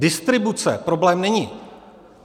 Distribuce problém není.